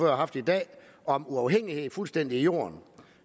har haft i dag om uafhængighed fuldstændig i jorden